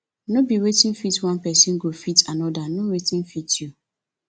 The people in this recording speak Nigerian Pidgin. no be wetin fit one persin go fit another know wetin fit you